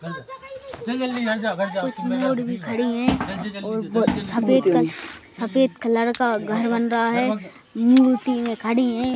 कुछ मूड खड़ी है ओर सफेद कलर सफेद कलर का घर बन रहा है मूर्ति में खड़ी है।